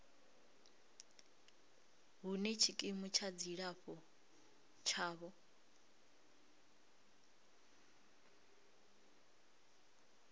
hune tshikimu tsha dzilafho tshavho